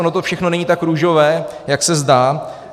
Ono to všechno není tak růžové, jak se zdá.